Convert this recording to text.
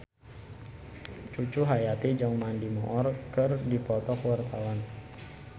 Cucu Cahyati jeung Mandy Moore keur dipoto ku wartawan